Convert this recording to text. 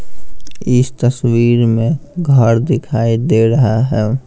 इस तस्वीर में घर दिखाई दे रहा है।